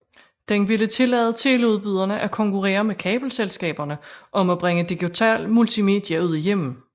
Den ville tillade teleudbyderne at konkurrere med kabelselskaberne om at bringe digital multimedia ud i hjemmene